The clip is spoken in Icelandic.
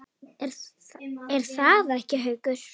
Er það ekki, Haukur?